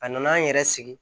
A nana an yɛrɛ sigi